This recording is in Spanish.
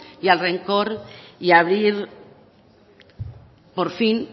y al rencor y abrir por fin